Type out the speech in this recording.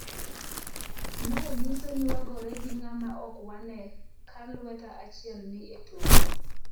Mae nyiso ni wagore gi ng'ama ok wane ka lweta achiel ni e tokwa.